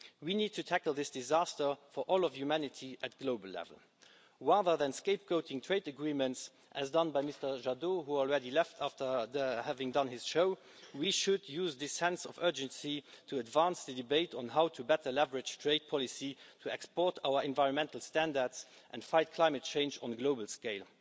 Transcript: We need to tackle this disaster for all of humanity at global level. Rather than scapegoating trade agreements, as done by Mr Jadot, who has already left after having done his show, we should use this sense of urgency to advance the debate on how to better leverage trade policy to export our environmental standards and fight climate change on a global scale.